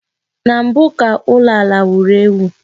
Na mbụ ka ụlọ ala wuru ewu